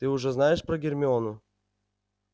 ты уже знаешь про гермиону